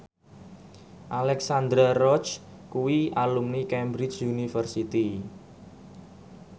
Alexandra Roach kuwi alumni Cambridge University